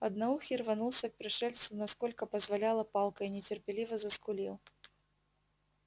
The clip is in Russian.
одноухий рванулся к пришельцу насколько позволяла палка и нетерпеливо заскулил